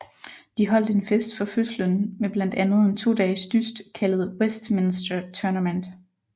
De holdt en fest for fødslen med blandt andet en todages dyst kaldet Westminster Tournament